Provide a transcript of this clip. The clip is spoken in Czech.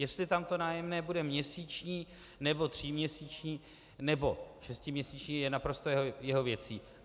Jestli tam nájemné bude měsíční, nebo tříměsíční, nebo šestiměsíční je naprosto jeho věcí.